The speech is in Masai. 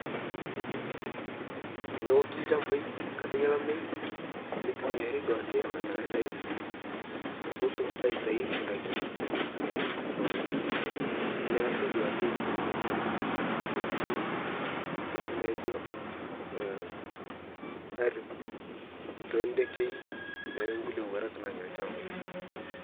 Tonooki lchampai nkata elamei neitumiari abaki duake fatalaizani pootum aitai ndakii kwa wingi neasi abki duake ntoki naijoo arip to ndegei telkulie owarak enya lshampai.